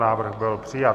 Návrh byl přijat.